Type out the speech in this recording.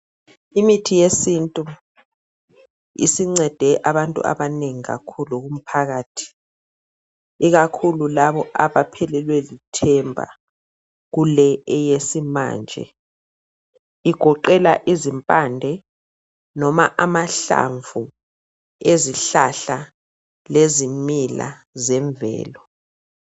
Imithi yesintu isincede abantu abanengi kakhulu kumphakathi, ikakhulu labo abaphelelwe lithemba kule eyesimanje. Igoqela izimpande noma amahlamvu ezihlahla lezimila zemvelo.